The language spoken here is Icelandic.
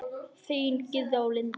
Þínar Gyða og Linda.